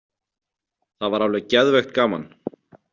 Það var alveg geðveikt gaman.